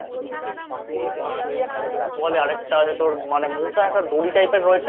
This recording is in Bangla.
কী একটা বলে আরেকটা মানে তোর মোটা একটা দড়ি Type এর হয়েছে